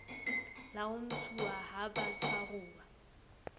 la ho ntshuwa ha batshwaruwa